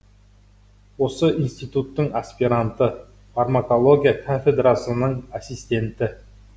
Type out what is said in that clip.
осы институттың аспиранты фармакология кафедрасының ассистенті